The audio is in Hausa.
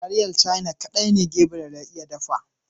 Taliyar caina kaɗai ne Gabriel ya iya dafa.